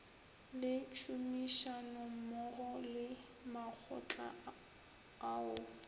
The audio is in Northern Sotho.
le tšhomišanommogo le makgotla ao